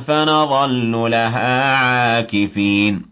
فَنَظَلُّ لَهَا عَاكِفِينَ